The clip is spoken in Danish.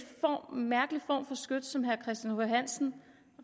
mærkelig form for skyts som herre christian h hansen